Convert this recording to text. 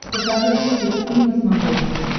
покажи русский экстрим на смотрешке